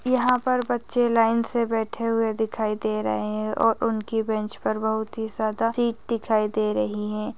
यहाँ पर बच्चे लाइन से बैठे हुए दिखाई दे रहे है और उनके बेंच पर बहुत ही ज्यादा चीज दिखाई दे रही है ।